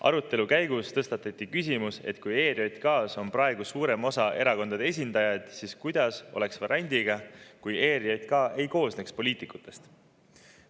Arutelu käigus tõstatati küsimus, et kui praegu on suurem osa ERJK erakondade esindajad, siis kuidas oleks variandiga, kui ERJK ei koosneks poliitikutest.